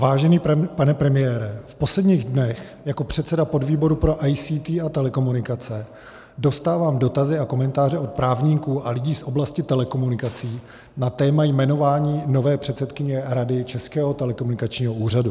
Vážený pane premiére, v posledních dnech jako předseda podvýboru pro ICT a telekomunikace dostávám dotazy a komentáře od právníků a lidí z oblasti telekomunikací na téma jmenování nové předsedkyně Rady Českého telekomunikačního úřadu.